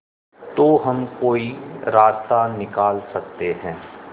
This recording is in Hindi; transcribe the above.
तो हम कोई रास्ता निकाल सकते है